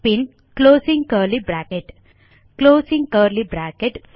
bin closing curly bracket closing curly bracket